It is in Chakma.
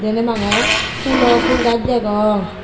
deney bangey fulo ful gas degong.